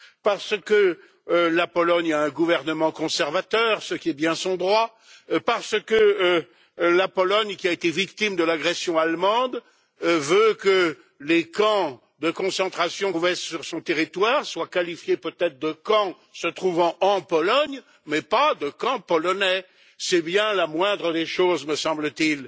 Parce que la Pologne a un gouvernement conservateur, ce qui est bien son droit. Parce que la Pologne, qui a été victime de l'agression allemande, veut que les camps de concentration qui se trouvaient sur son territoire soient qualifiés peut être de camps se trouvant en Pologne mais pas de camps polonais, c'est bien la moindre des choses me semble t il.